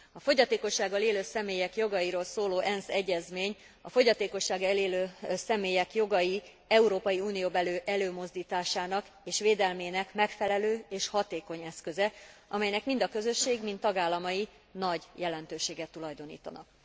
A fogyatékossággal élő személyek jogairól szóló ENSZ egyezmény a fogyatékossággal élő személyek jogai európai unióbeli előmozdításának és védelmének megfelelő és hatékony eszköze, amelynek mind a közösség, mind tagállamai nagy jelentőséget tulajdonítanak.